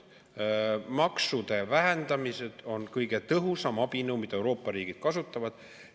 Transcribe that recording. Maksude vähendamine on kõige tõhusam abinõu, mida Euroopa riigid kasutavad.